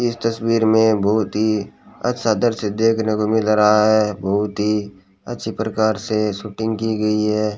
इस तस्वीर में बहुत ही अच्छा दृश्य देखने को मिल रहा है बहुत ही अच्छी प्रकार से शूटिंग की गई है।